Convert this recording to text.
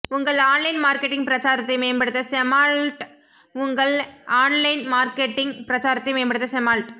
உங்கள் online marketing பிரச்சாரத்தை மேம்படுத்த செமால்ட் உங்கள் ஆன்லைன் மார்க்கெட்டிங் பிரச்சாரத்தை மேம்படுத்த செமால்ட்